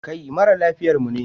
Kai mara lafiyar mu ne?